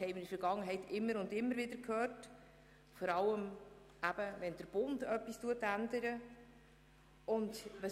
Das haben wir in der Vergangenheit immer und immer wieder gehört, vor allem wenn der Bund Änderungen vollzieht.